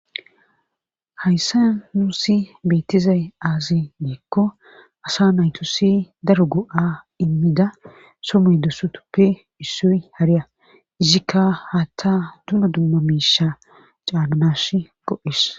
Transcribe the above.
Hayssa nuusi beetizay aazi deekko asa nayto si daru gu'a immida somoy dosutuppe issoy hariya izikka haatta duma dumma miisha caannash go'es.